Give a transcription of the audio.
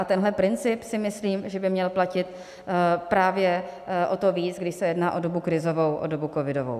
A tenhle princip si myslím, že by měl platit právě o to víc, když se jedná o dobu krizovou, o dobu covidovou.